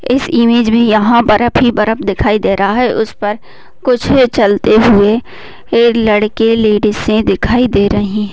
इस इमेज में यहाँ पर बर्फ ही बर्फ दिखाई दे रहा है उस पर कुछ चलते हुए लड़के लेडीसें दिखाई दे रहीं --